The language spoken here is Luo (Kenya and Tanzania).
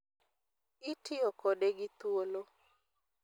Itiyo kode gi thuolo.